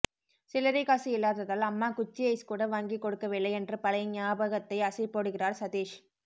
சில்லறைக் காசு இல்லாததால் அம்மா குச்சி ஐஸ் கூட வாங்கிக் கொடுக்கவில்லை என்று பழைய ஞாபத்தை அசைபோடுகிறார் சதீஷ்